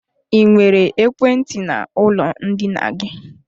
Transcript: Ị nwere ekwentị n'ụlọ ndina gị?